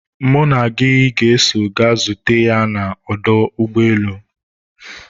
mụ na gị ga-eso ga zute ya na ọdọ ụgbọelu